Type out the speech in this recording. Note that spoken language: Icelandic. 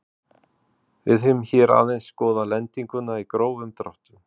Við höfum hér aðeins skoðað lendinguna í grófum dráttum.